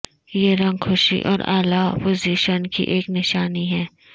یہ رنگ خوشی اور اعلی پوزیشن کی ایک نشانی ہے